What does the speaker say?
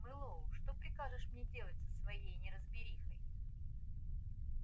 мэллоу что прикажешь мне делать со всей неразберихой